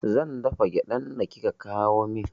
Zan dafa gyaɗan da kika kawo min